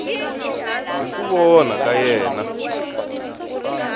hi ku vona ka yena